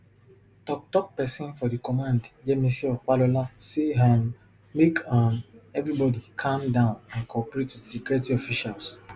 toktok pesin for di command yemisi opalola say um make um evribody calm down and cooperate wit security officials